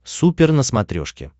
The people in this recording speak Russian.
супер на смотрешке